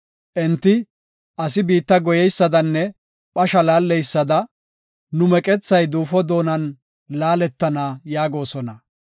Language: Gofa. Enti, “Asi biitta goyeysadanne phasha laalleysada, nu meqethay duufo doonan laaletana” yaagosona.